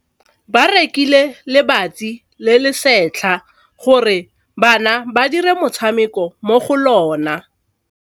Ba rekile lebati le le setlha gore bana ba dire motshameko mo go lona.